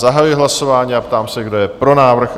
Zahajuji hlasování a ptám se, kdo je pro návrh?